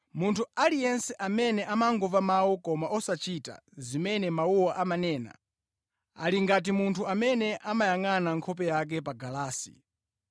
Munthu aliyense amene amangomva mawu koma osachita zimene mawuwo amanena, ali ngati munthu amene amayangʼana nkhope yake pa galasi.